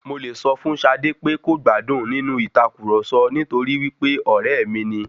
Mo lẹ̀ sọ fún Ṣadé pé kò gbádùn nínú ìtàkurọ̀sọ nítorí wípé ọ̀rẹ́ mi ni.